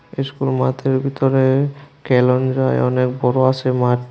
School মাথের বিতরে কেলন যায় অনেক বড় আসে মাঠ।